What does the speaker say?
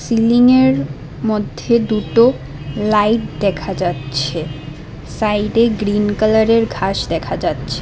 সিলিংয়ের মধ্যে দুটো লাইট দেখা যাচ্ছে সাইডে গ্রিন কালারের ঘাস দেখা যাচ্ছে।